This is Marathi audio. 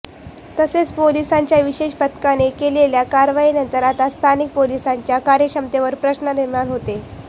तसेच पोलिसांच्या विशेष पथकाने केलेल्या कारवाईनंतर आता स्थानिक पोलिसांच्या कार्यक्षमतेवर प्रश्न निर्माण होते